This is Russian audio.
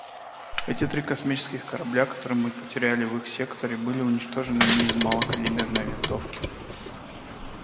эти три космических корабля которые мы потеряли в их секторе были уничтожены не из малокалиберной винтовки